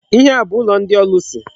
Ihe a bu ụlọ ndị ọlụsị.